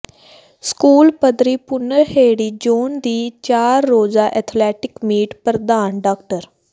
school ਪੱਧਰੀ Bhunarheri zone ਦੀ ਚਾਰ ਰੋਜ਼ਾ ਐਥਲੈਟਿਕ ਮੀਟ ਪ੍ਰਧਾਨ ਡਾ